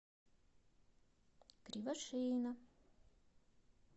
кривошеина